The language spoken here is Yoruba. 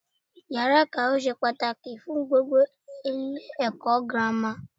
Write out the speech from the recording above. Iyàrá ikawe se pàtàkì fun gbogbo Ilé èkó girama